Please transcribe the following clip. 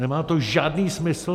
Nemá to žádný smysl!